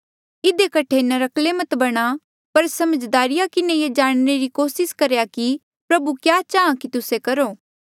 इधी कठे नर्क्कले मत बणा पर समझदारी किन्हें ये जाणने री कोसिस करा कि प्रभु क्या चाहां कि तुस्से करो